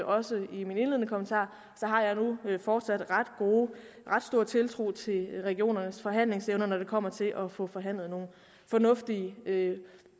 også sagde i mine indledende kommentarer har jeg fortsat ret stor tiltro til regionernes forhandlingsevner når det kommer til at få forhandlet nogle fornuftige